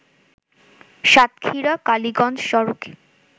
সাতক্ষীরা কালিগঞ্জ সড়কে